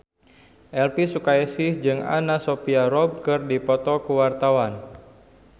Elvy Sukaesih jeung Anna Sophia Robb keur dipoto ku wartawan